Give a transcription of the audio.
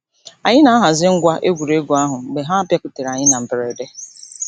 Anyị na-ahazi ngwa egwuregwu ahụ mgbe ha bịakwutere anyị na mberede.